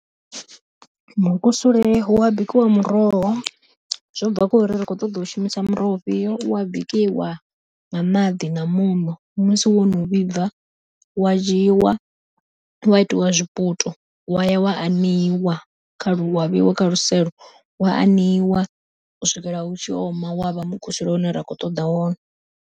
Mukusule hua bikiwa muroho, zwo bva khori ri kho ṱoḓa u shumisa muroho ufhio wa bikiwa, nga maḓi na muṋo musi wo no vhibva wa dzhiiwa wa itiwa zwiputo wa ya wa aneiwa kha wa vheiwa kha luselo wa aneiwa u swikela u tshi oma wavha mukusule une ra kho ṱoḓa wone.